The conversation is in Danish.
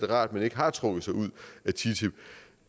rart at han ikke har trukket sig ud af ttip